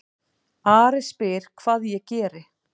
Ari spyr hvað ég geri.